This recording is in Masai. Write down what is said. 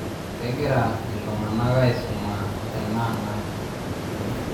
kegira iltung'anaka aisuma tenaang ang